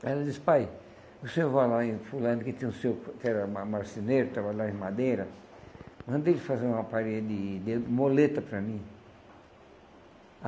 Aí ela disse, pai, o senhor vai lá em fulano que tem um senhor que era ma marceneiro, que trabalhava em madeira, manda ele fazer uma parede de muleta para mim.